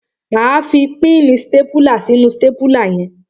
Máa fi píìnì stápùlà sínú stápùlà si.